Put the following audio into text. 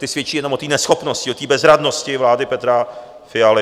Ty svědčí jenom o té neschopnosti, o té bezradnosti vlády Petra Fialy.